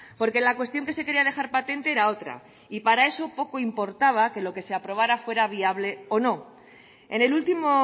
porque la cuestión que se quería dejar patente era otra y para eso poco importaba que lo que se aprobara fuera viable o no en el último